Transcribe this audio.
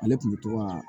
Ale tun bɛ to ka